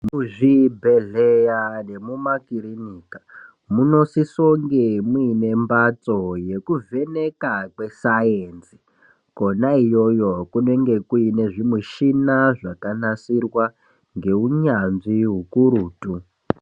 Muzvibhedhlera nemumakiriniki munosisonge muine mbatso yekuvheneka kwesainzi. Kwena iyiyo kunenge kuinezvimishina zvakanasirwa ngeunyanzvi ukurutu.